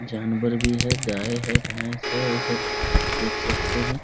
जानवर भी है गाय है भैस है उधर देख सकते हैं ।